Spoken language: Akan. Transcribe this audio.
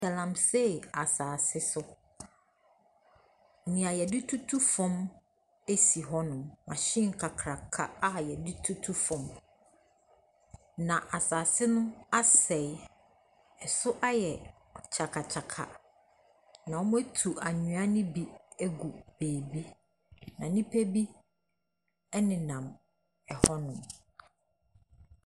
Galamsey asase so, deɛ wɔde tutu fam hɔnom. Machine kakraka a wɔde tutu fam. Na asase no asɛe. Ɛso ayɛ ka kyakakyaka. Na wɔatu anwea no bi agu baabi. Na nnipa bi nenam hɔnom.